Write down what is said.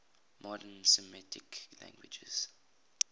modern semitic languages